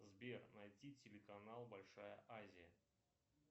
сбер найти телеканал большая азия